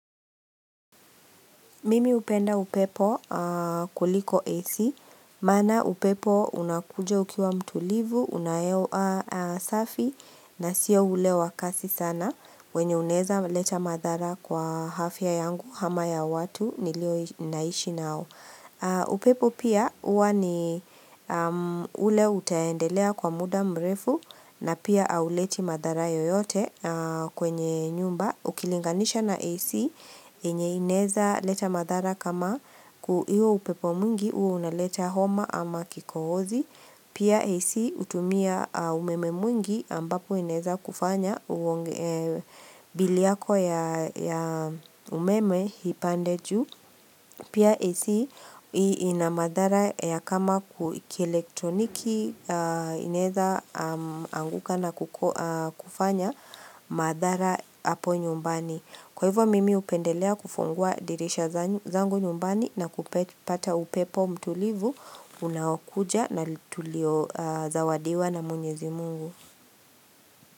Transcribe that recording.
Mimi upenda upepo kuliko AC, mana upepo unakuja ukiwa mtulivu, unahewa safi na sio ule wakasi sana wenye unaeza leta madhara kwa hafya yangu hama ya watu nilio inaishi nao. Upepo pia uwa ni ule utaendelea kwa muda mrefu na pia au leti madhara yoyote kwenye nyumba. Ukilinganisha na AC yenye inaeza leta madhara kama kuio upepo mwingi uo unaleta homa ama kikohozi. Pia AC utumia umeme mwingi ambapo inaeza kufanya biliyako ya ya umeme hipandejuu. Pia AC ina madhara ya kama kielektroniki inaeza anguka na kuku kufanya madhara hapo nyumbani. Kwa hivo mimi hupendelea kufungua dirisha zangu nyumbani na kupata upepo mtulivu unaokuja na tulio zawadiwa na mwenyezi Mungu.